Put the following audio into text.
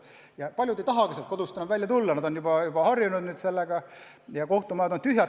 Ja paljud ei tahagi kodust välja tulla, nad on juba sellega harjunud, ja kohtumajad on tühjad.